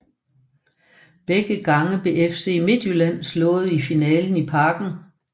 Begge gange blev FC Midtjylland slået i finalen i Parken